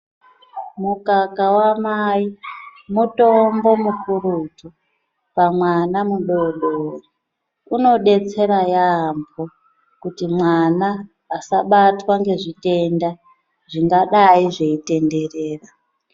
Mukaka wa mai mutombo mukurutu pa mwana mudodori uno detsera yambo kuti mwana asa batwa nge zvitenda zvinga dai zvei tenderera.